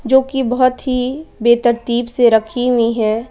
जो की बहुत ही बेहतरतीब से रखी हुई है।